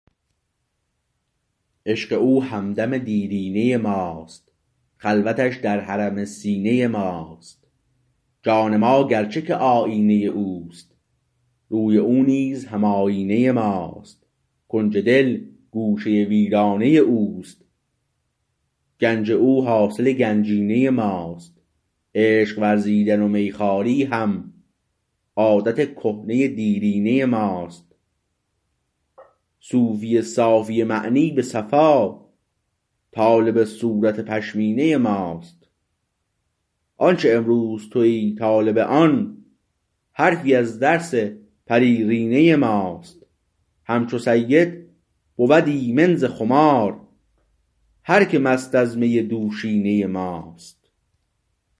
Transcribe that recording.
عشق او همدم دیرینه ماست خلوتش در حرم سینه ماست جان ما گرچه که آیینه اوست روی او نیز هم آیینه ماست کنج دل گوشه ویرانه اوست گنج او حاصل گنجینه ماست عشق ورزیدن و میخواری هم عادت کهنه دیرینه ماست صوفی صافی معنی به صفا طالب صورت پشمینه ماست آنچه امروز تویی طالب آن حرفی از درس پریرینه ماست همچو سید بود ایمن ز خمار هر که مست از می دوشینه ماست